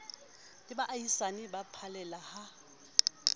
le baahisane ba phallela ha